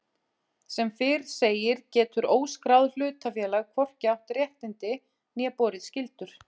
Sem fyrr segir getur óskráð hlutafélag hvorki átt réttindi né borið skyldur.